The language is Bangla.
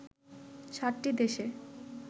সাতটি দেশে